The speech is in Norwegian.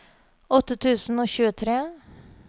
åtte tusen og tjuetre